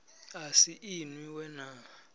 a si inwi we na